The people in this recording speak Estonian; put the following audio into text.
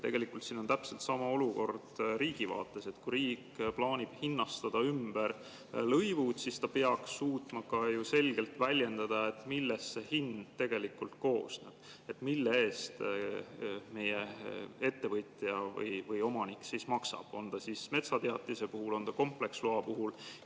Tegelikult on täpselt sama olukord riigi vaates: kui riik plaanib hinnastada ümber lõivud, siis ta peaks suutma ka ju selgelt väljendada, millest see hind koosneb, mille eest ettevõtja või omanik maksab, on see siis metsateatise puhul või kompleksloa puhul.